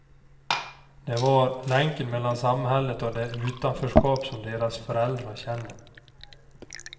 De var länken mellan samhället och det utanförskap som deras föräldrar känner.